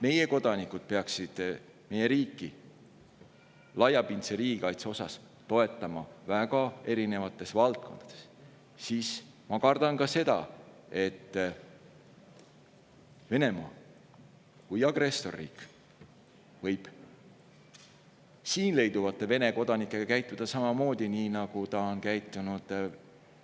Meie kodanikud peaksid meie riiki laiapindse riigikaitse mõttes toetama väga erinevates valdkondades, aga ma kardan, et Venemaa kui agressorriik võib siin Vene kodanikega käituda samamoodi, nagu ta on käitunud